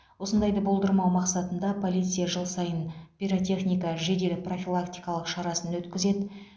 осындайды болдырмау мақсатында полиция жыл сайын пиротехника жедел профилактикалық шарасын өткізеді